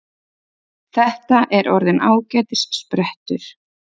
Þetta er orðinn ágætis sprettur